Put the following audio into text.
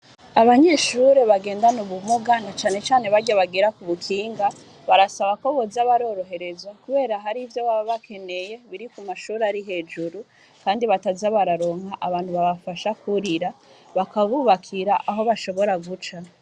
Abanyeshure bagendana ubumuga na cane cane barya bagira kubukinga barasba ko boza baroroherezwa kubera hari ivyo baba bakeneye biri ku mashure ari hejuru kandi bataza bararonka abantu babafasha kwurira bakabubakira aho bashobora guca .